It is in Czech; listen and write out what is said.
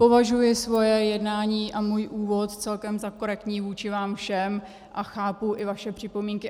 Považuji svoje jednání a svůj úvod celkem za korektní vůči vám všem a chápu i vaše připomínky.